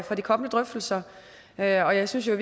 for de kommende drøftelser og jeg synes i